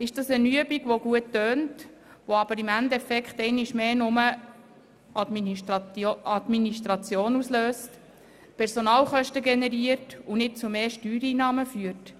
Ist es eine Übung, die gut klingt, die aber im Endeffekt einmal mehr nur Administration auslöst, Personalkosten generiert und nicht zu mehr Steuereinnahmen führt?